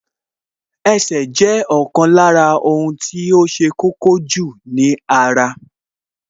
Ẹsẹ̀ ni ó jẹ́ ohun tí ṣe kókó jù ní ara